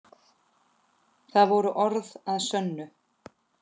Það voru orð að sönnu.